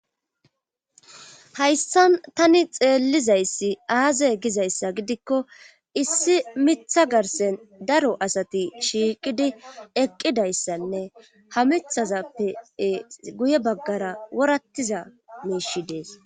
hayssa tani xeellizayssi aazay gizayssa gidikko issi mitha garsen daro asati shiiqidi eqqidayssanne hamithazappee guye baggara worattiza meeshi dees